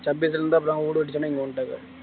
வுடு கிடைச்சவுடனே இங்க வந்திட்டாங்க